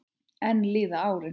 Enn líða árin.